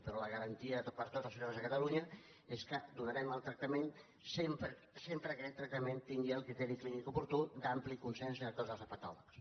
però la garantia per a tots els ciutadans de catalunya és que donarem el tractament sempre que aquest trac·tament tingui el criteri clínic oportú d’ampli consens de tots els hepatòlegs